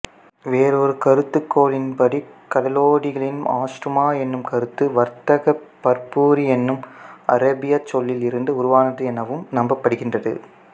வேறொரு கருதுகோளின்படி கடலோடிகளின் ஆஸ்துமா எனும் கருத்து வரத்தக்க புர்பரி எனும் அரேபியச் சொல்லில் இருந்து உருவானது எனவும் நம்பப்படுகின்றது